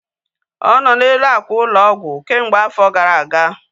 Ọ nọ n'elu ákwà ụlọ ọgwụ kemgbe afọ gara aga